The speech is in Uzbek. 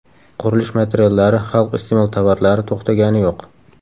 Qurilish materiallari, xalq iste’mol tovarlari to‘xtagani yo‘q.